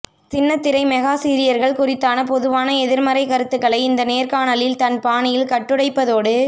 சின்னத்திரை மெகா சீரியல்கள் குறித்தான பொதுவான எதிர்மறை கருத்துக்களை இந்த நேர்காணலில் தன் பாணியில் கட்டுடைப்பதோடு